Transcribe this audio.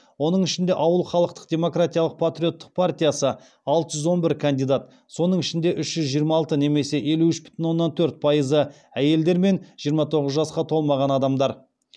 оның ішінде ауыл халықтық демократиялық патриоттық партиясы алты жүз он бір кандидат соның ішінде үш жүз жиырма алты немесе елу үш бүтін оннан төрт пайызы әйелдер мен жиырма тоғыз жасқа толмаған адамдар